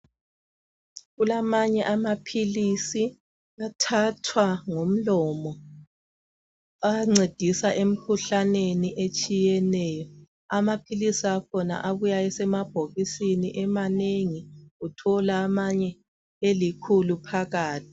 Kulamanye amaphilisi athathwa ngomlomo ancedisa emkhuhlaneni etshiyeneyo . Amaphilisi akhona abuya esemabhokisini emanengi ,uthola amanye elikhulu phakathi.